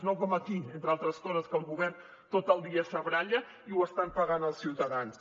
no com aquí entre altres coses que el govern tot el dia se baralla i ho estan pagant els ciutadans